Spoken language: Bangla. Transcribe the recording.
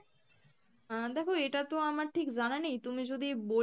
আহ দেখো এটাতো আমার ঠিক জানা নেই, তুমি যদি বলে